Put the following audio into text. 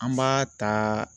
An b'a ta